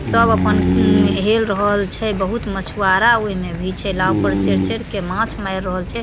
सब अपन उम हेल रहल छे बहुत मछुवारा उ एमे भी छे नाव पे चढ़-चढ़ के माछ मार रहल छे।